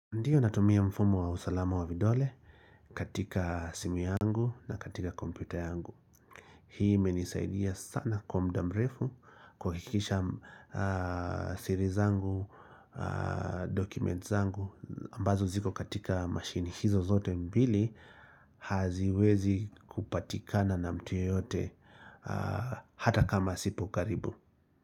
Ndiyo natumia mfumo wa usalama wa vidole katika simu yangu na katika kompyuta yangu Hii imenisaidia sana kwa mda mrefu kuhakikisha sirizangu, dokumentizangu ambazo ziko katika machine hizo zote mbili haziwezi kupatikana na mtuye yote hata kama sipo karibu.